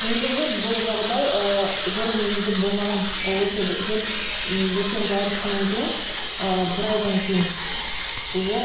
негізі бұл жағдай ыыы жүріп жүргенде болмаған ол осы жүріп м екеуіміз айырылысқаннан кейін ыыы бір айдан кейін уже